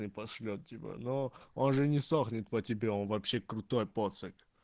пошлёт тебя но он же не сохнет по тебе он вообще крутой поцык